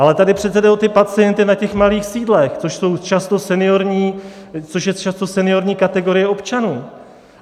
Ale tady přece jde o ty pacienty na těch malých sídlech, což je často seniorní kategorie občanů.